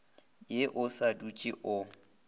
ye o sa dutse o